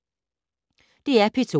DR P2